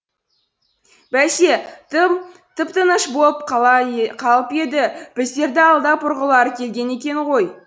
бәсе тым тып тыныш бола қалып еді біздерді алдап ұрғылары келген екен ғой